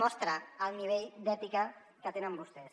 mostra el nivell d’ètica que tenen vostès